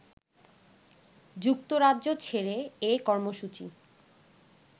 যুক্তরাজ্য ছেড়ে এ কর্মসূচি